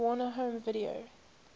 warner home video